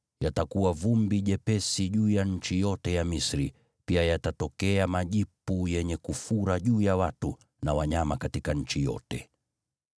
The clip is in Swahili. Yatakuwa vumbi jepesi juu ya nchi yote ya Misri, pia yatatokea majipu yenye kufura juu ya watu na wanyama katika nchi yote.”